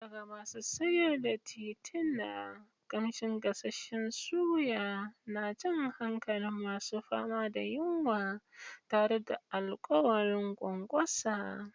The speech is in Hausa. Daga masu sayar da tituna, kamshin gasasshen suya na jan hankalin masu fama da yunwa tare da alƙawarin ƙwanƙwasa.